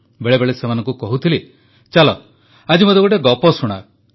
ବେଳେବେଳେ ସେମାନଙ୍କୁ କହୁଥିଲି ଚାଲ ଆଜି ମୋତେ ଗୋଟିଏ ଗପ ଶୁଣାଅ